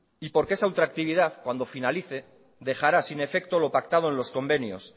y porque esa ultractividad cuando finalice dejará sin efecto lo pactado en los convenios